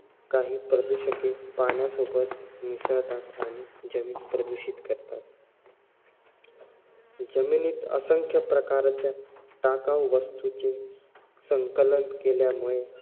काही प्रदूषके पाण्यासोबत मिसळतात आणि जमीन प्रदूषित करतात. जमिनीत असंख्य प्रकारच्या टाकाऊ वास्तूचे संकलन केल्यामुळे